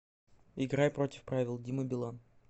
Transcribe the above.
играй против правил дима билан